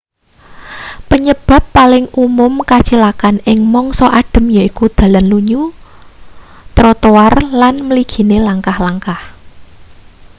penyebab paling umum kacilakan ing mangsa adhem yaiku dalan lunyu troroar trotoar lan mligine langkah-langkah